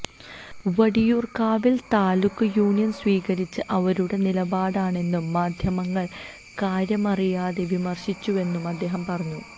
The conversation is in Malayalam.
വട്ടിയൂർക്കാവിൽ താലൂക്ക് യൂണിയൻ സ്വീകരിച്ചത് അവരുടെ നിലപാടാണെന്നും മാധ്യമങ്ങൾ കാര്യമറിയാതെ വിമർശിച്ചുവെന്നും അദ്ദേഹം പറഞ്ഞു